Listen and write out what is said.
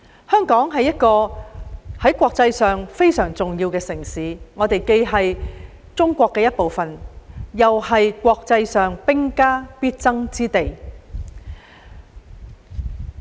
香港是國際上一個非常重要的城市，我們既是中國的一部分，又是國際間兵家必爭之地。